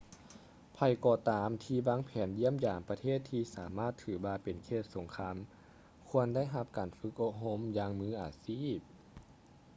ໃຜກໍຕາມທີ່ວາງແຜນຢ້ຽມຢາມປະເທດທີ່ສາມາດຖືວ່າເປັນເຂດສົງຄາມຄວນໄດ້ຮັບການຝຶກອົບຮົມຢ່າງມືອາຊີບ